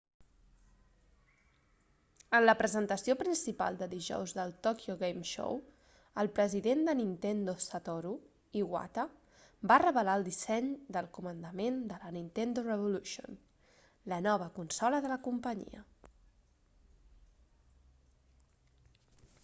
en la presentació principal de dijous del tokyo game show el president de nintendo satoru iwata va revelar el disseny del comandament de la nintendo revolution la nova consola de la companyia